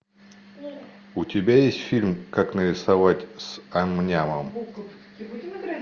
у тебя есть фильм как нарисовать с ам нямом